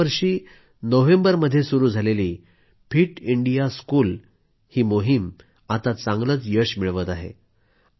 गेल्यावर्षी नोव्हेंबरमध्ये सुरू झालेली फिट इंडिया स्कूल या मोहिमेला आता चांगलंच यश मिळत आहे